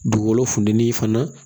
Dugukolo funtɛnin fana